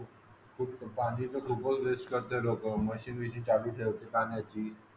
पाणी तर खूप वेस्ट करतात लोक म्हणजे